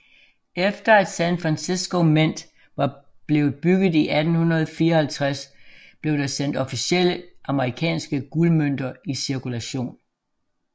Efter at San Francisco Mint var blevet bygget i 1854 blev der sendt officielle amerikanske guldmønter i cirkulation